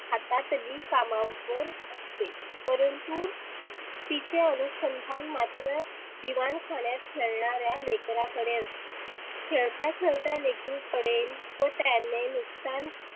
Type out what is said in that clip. हातातली कामावर असते परंतु तीचे अनुसंधान मात्र दिवानखाण्यात खेळणाऱ्या लेकराकडे असते. खेळता खेळता लेकरु पडेल व त्याने नुकसान